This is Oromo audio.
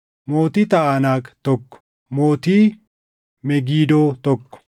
mootii Taʼanaak, tokko mootii Megidoo, tokko